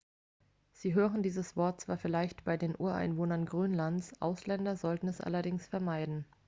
sie hören dieses wort zwar vielleicht bei den ureinwohnern grönlands ausländer sollten es allerdings vermeiden